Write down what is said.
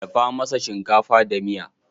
Dafa mana shinkafa da miya.